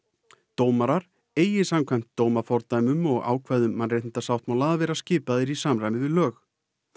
dómarar eigi samkvæmt ákvæðum mannréttindasáttmála að vera skipaðir í samræmi við lög